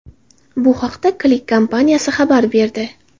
Bu haqda Click kompaniyasi xabar berdi.